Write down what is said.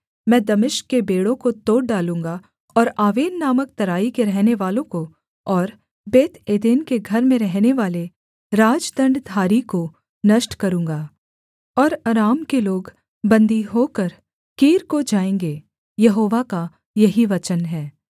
मैं दमिश्क के बेंड़ों को तोड़ डालूँगा और आवेन नामक तराई के रहनेवालों को और बेतएदेन के घर में रहनेवाले राजदण्डधारी को नष्ट करूँगा और अराम के लोग बन्दी होकर कीर को जाएँगे यहोवा का यही वचन है